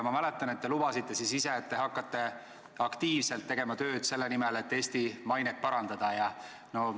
Ma mäletan, et te lubasite siis ise, et te hakkate aktiivselt tegema tööd selle nimel, et Eesti mainet parandada.